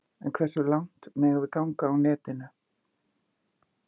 En hversu langt megum við ganga á netinu?